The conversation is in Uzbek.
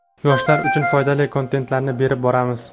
yoshlar uchun foydali kontentlarni berib boramiz.